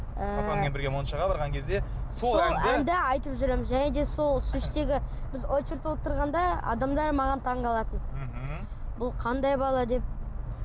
ыыы папаңмен бірге моншаға барған кезде сол әнді айтып жүреміз және де сол біз очередьте отырғанда адамдар маған таңғалатын мхм бұл қандай бала деп